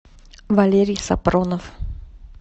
валерий сапронов